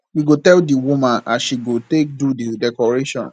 we go tell di woman as she go take do di decoration